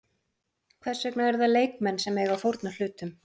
Hvers vegna eru það leikmenn sem eiga að fórna hlutum?